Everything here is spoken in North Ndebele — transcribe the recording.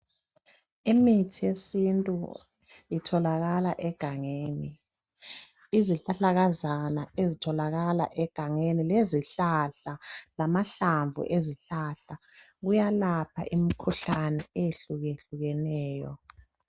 Imithi yesintu itholakala egangeni. Izihlahlakazana ezitholakala egangeni lezihlahla, lamahlamvu ezihlahla, kuyalapha imkhuhlane eyehlukehlukeneyo.